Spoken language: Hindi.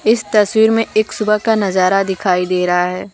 इस तस्वीर में एक सुबह का नजारा का दिखाई दे रहा है।